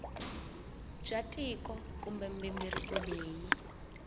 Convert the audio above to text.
bya tiko kumbe mighingiriko leyi